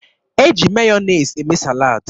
E ji Meyọnez eme salad.